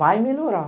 Vai melhorar.